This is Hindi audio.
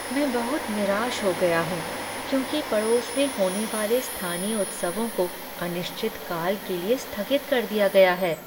मैं बहुत निराश हो गया हूँ क्योंकि पड़ोस में होने वाले स्थानीय उत्सवों को अनिश्चित काल के लिए स्थगित कर दिया गया है।